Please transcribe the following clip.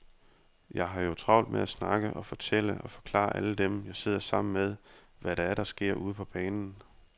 Jeg har jo travlt med at snakke og fortælle og forklare alle dem, jeg sidder sammen med, hvad det er, der sker ude på banen.